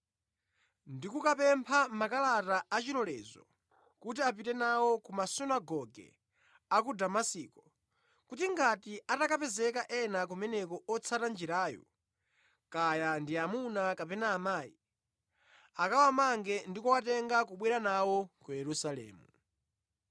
ndi kukapempha makalata a chilolezo kuti apite nawo ku masunagoge a ku Damasiko, kuti ngati atakapezeka ena kumeneko otsata Njirayo, kaya ndi amuna kapena amayi, akawamange ndi kuwatenga kubwera nawo ku Yerusalemu.